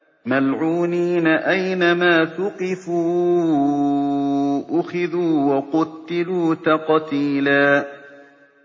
مَّلْعُونِينَ ۖ أَيْنَمَا ثُقِفُوا أُخِذُوا وَقُتِّلُوا تَقْتِيلًا